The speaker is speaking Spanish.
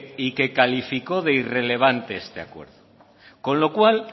y que calificó de irrelevante este acuerdo con lo cual